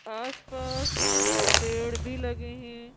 आसपास पेड़ भी लगे हैं।